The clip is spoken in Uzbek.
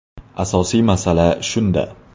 Asosiy masala shunda.